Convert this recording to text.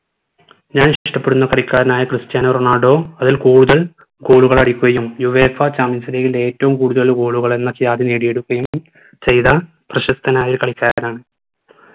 ഞാൻ ഇഷ്ട്ടപെടുന്ന കളിക്കാരനായ ക്രിസ്ത്യാനോ റൊണാൾഡോ അതിൽ കൂടുതൽ goal കൾ അടിക്കുകയും UEFA champions league ൽ ഏറ്റവും കൂടുതൽ goal കൾ എന്ന ക്യാദി നേടിയെടുക്കുകയും ചെയ്‌ത പ്രശസ്തനായ കളിക്കാരനാണ്